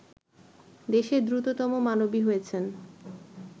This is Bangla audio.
দেশের দ্রুততম মানবী হয়েছেন